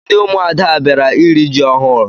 Ndị ụmụada a bịara iri ji ọhụrụ?